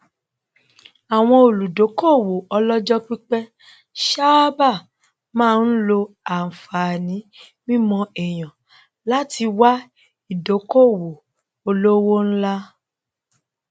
àwọn olùdókòwò olojopipe sáábà máa ń lo anfààní mímọ èyàn láti wá ìdókòwò olówó ńlá